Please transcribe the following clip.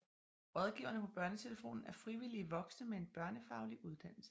Rådgiverne på BørneTelefonen er frivillige voksne med en børnefaglig uddannelse